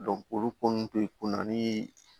olu ko nunnu te ko na nii